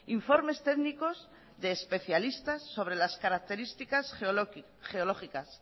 informes técnicos de especialistas sobre las características geológicas